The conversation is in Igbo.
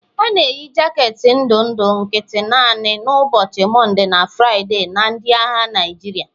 A na-eyi jaketi ndụ ndụ nkịtị naanị n'ụbọchị Mọnde na Fraịde na ndị agha Naịjirịa.